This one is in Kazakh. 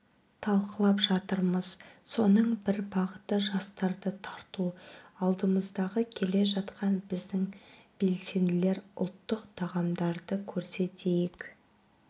талқылап жатырмыз соның бір бағыты жастарды тарту алдымыздағы келе жатқан біздің белсенділер ұлттық тағамдарды көрсетейік